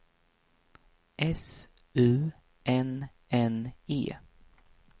S U N N E